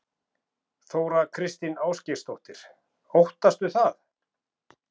Þóra Kristín Ásgeirsdóttir: Óttastu það?